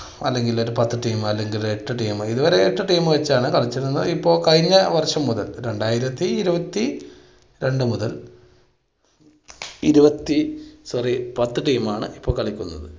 അല്ലെങ്കിൽ ഒരു പത്ത് team അല്ലെങ്കിൽ എട്ട് team ഇത് വരേ എട്ട് team വച്ചിട്ടാണ് കളിച്ചിരുന്നത്, ഇപ്പൊ കഴിഞ്ഞ വർഷം മുതൽ രണ്ടായിരത്തി ഇരുപത്തിരണ്ട് മുതൽ ഇരുപത്തി sorry പത്ത് team ണ് ഇപ്പൊ കളിക്കുന്നത്